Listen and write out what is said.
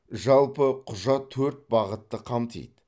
жалпы құжат төрт бағытты қамтиды